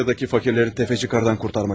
Rusiyadakı fakirləri təfəçi qardan qurtarmaq üçün.